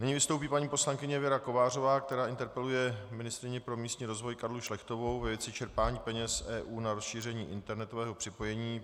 Nyní vystoupí paní poslankyně Věra Kovářová, která interpeluje ministryni pro místní rozvoj Karlu Šlechtovou ve věci čerpání peněz EU na rozšíření internetového připojení.